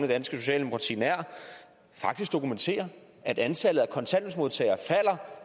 danske socialdemokrati nær faktisk dokumenterer at antallet